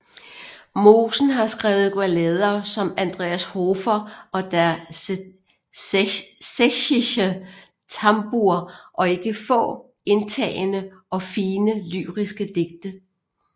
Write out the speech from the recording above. Mosen har skrevet ballader som Andreas Hofer og Der sächsische Tambour og ikke få indtagende og fine lyriske digte